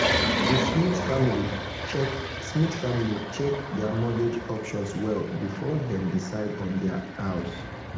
the smith family check smith family check their mortgage options well before dem decide on their house.